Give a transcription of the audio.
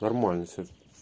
нормально всё